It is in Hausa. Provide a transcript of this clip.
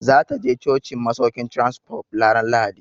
Za ta je cocin masaukin Transcorp ranar Lahadi.